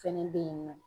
Fɛnɛ bɛ yen nɔ